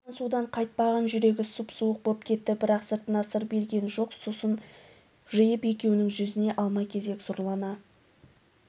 оттан судан қайтпаған жүрегі сұп-суық боп кетті бірақ сыртына сыр берген жоқ сұсын жиып екеуінің жүзіне алма-кезек сұрлана